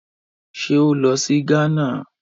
Ṣé ó lọ sí Ghana?